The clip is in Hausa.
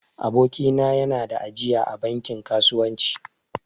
Aboki na ya na da ajiya a bankin kasuwanci